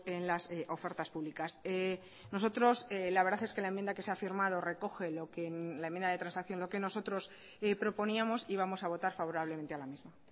en las ofertas públicas nosotros la verdad es que la enmienda que se ha firmado recoge lo que la enmienda de transacción lo que nosotros proponíamos y vamos a votar favorablemente a la misma